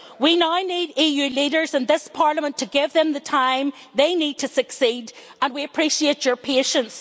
We now need EU leaders and this Parliament to give them the time they need to succeed and we appreciate your patience.